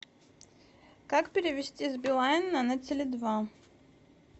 как перевести с билайна на теле два